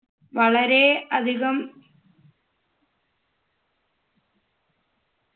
വളരെ അധികം